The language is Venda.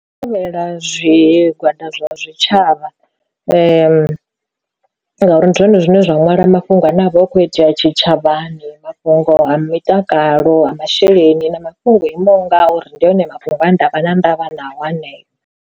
Thivhela zwigwada zwa zwitshavha ngauri ndi zwone zwine zwa nwala mafhungo ane avha a kho itea tshitshavhani mafhungo ha mutakalo ha masheleni na mafhungo o imaho ngauri, ndi hone mafhungo a ndavha na ndavha nayo haneyo.